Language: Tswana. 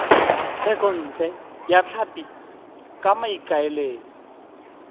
thekontle ya tlhapi ka maikaelelo